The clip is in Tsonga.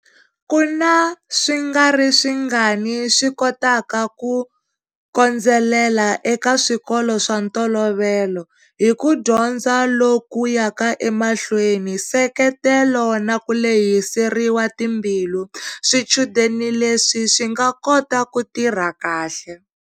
Ku na swingariswingani swi kotaka ku kondzelela eka swikolo swa ntolovelo. Hi ku dyondza loku yaka emahlweni, nseketelo na ku lehiseriwa timbilu, swichudeni leswi swi nga kota ku tirha kahle.